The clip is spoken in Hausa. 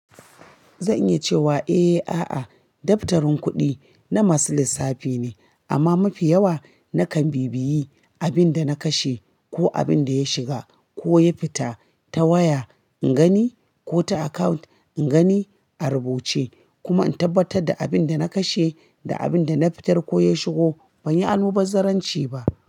Zan iya cewa eh, a'a, daftarin kuɗi na masu lissafi ne, amma mafi yawa nakan bibiye abin da na kashe ko abin da ya shiga ko ya fita ta waya ingani ko ta account ingani a rubuce kuma in tabbatar da abin da na kashe da abin da na fitar ko ya shigo ban yi almubazzarranci ba.